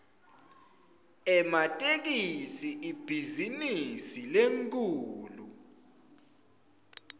ematekisi ibhizinisi lenkhulu